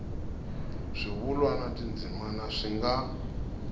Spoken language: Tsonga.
swivulwa na tindzimana swi nga